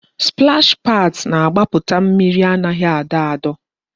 Splash pads na-agbaputa mmiri anaghị adọ adọ